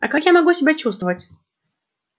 а как я могу себя чувствовать